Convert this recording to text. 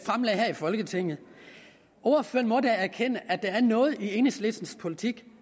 i folketinget ordføreren må da erkende at der er noget i enhedslistens politik